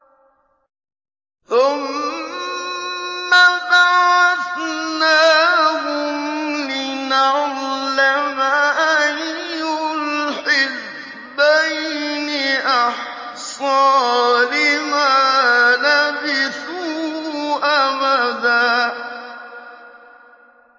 ثُمَّ بَعَثْنَاهُمْ لِنَعْلَمَ أَيُّ الْحِزْبَيْنِ أَحْصَىٰ لِمَا لَبِثُوا أَمَدًا